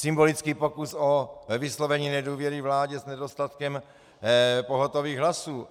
Symbolický pokus o vyslovení nedůvěry vládě s nedostatkem pohotových hlasů.